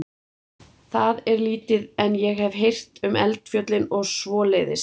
Það er lítið, en ég hef heyrt um eldfjöllin og svoleiðis.